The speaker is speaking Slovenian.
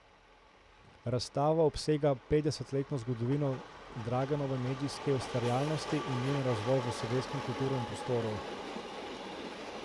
Razstava obsega petdesetletno zgodovino Draganove medijske ustvarjalnosti in njen razvoj v slovenskem kulturnem prostoru.